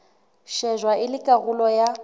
shejwa e le karolo ya